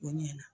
O ɲɛna